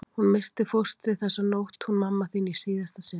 Hún missti fóstrið þessa nótt hún mamma þín í síðasta sinn.